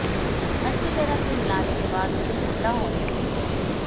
अच्छी तरह से मिलाने के बाद उसे ठंडा होने दें